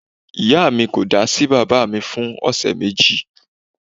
Ìyá mi ko da sí baba mi fún ọ̀sẹ̀ méjì